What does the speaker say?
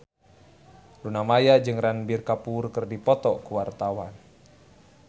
Luna Maya jeung Ranbir Kapoor keur dipoto ku wartawan